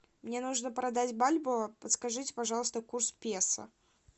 мне нужно продать бальбоа подскажите пожалуйста курс песо